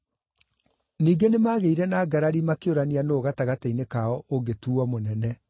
Ningĩ nĩmagĩire na ngarari makĩũrania nũũ gatagatĩ-inĩ kao ũngĩtuuo mũnene.